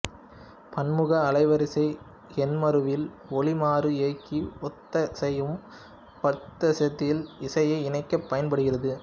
பன்முக அலைவரிசை எண்மருவி ஒலி மறு இயக்கி ஒத்திசையும் பட்சத்தில் இசையை இணைக்கப் பயன்படுகிறது